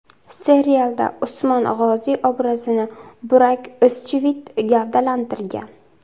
Serialda Usmon G‘oziy obrazini Burak O‘zchivit gavdalantirgan.